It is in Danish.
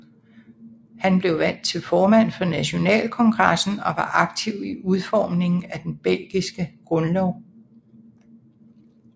Han blev valgt til formand for nationalkongressen og var aktiv i udformningen af den belgiske grundlov